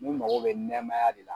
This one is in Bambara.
Mun mago bɛ nɛmaya de la.